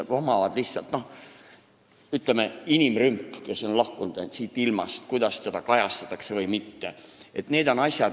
Ütleme näiteks, inimrümp, kui inimene on siit ilmast lahkunud – kas seda kajastatakse või mitte?